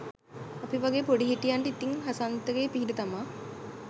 අපි වගේ පොඩිහිටියන්ට ඉතින් හසන්තගේ පිහිට තමා.